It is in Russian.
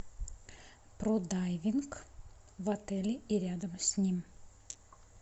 про дайвинг в отеле и рядом с ним